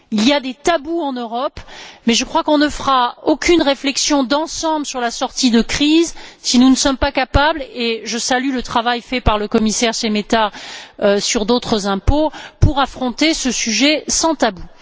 Il y a des tabous en Europe mais je crois que nous ne ferons aucune réflexion d'ensemble sur la sortie de crise si nous ne sommes pas capables et je salue le travail fait par le commissaire Šemeta sur d'autres impôts d'affronter ce sujet sans tabous.